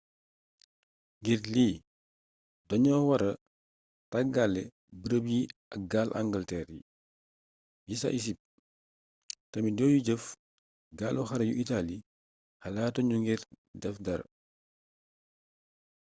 ngir lii dañoo wara tàggale bërëb yi ak gaal angalteer yi ca isipt tamit yoyu jëf gaalu xare yu itaali xalaatuñu ngir def dara